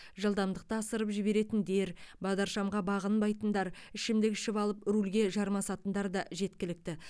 жылдамдықты асырып жіберетіндер бағдаршамға бағынбайтындар ішімдік ішіп алып рульге жармасатындар да жеткілікті